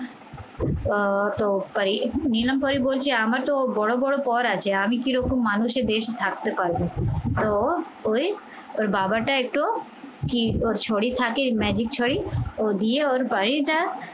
আহ তো তাই নিলাম পরি বলছি আমার তো বড় বড় পদ আছে আমি কিরকম মানুষে বেশে থাকতে পারবো তো ওই ওর বাবাটা একটু ক্ষিপ্ত ছড়ি থাকে magic ছড়ি ও দিয়ে ওর বাড়িটা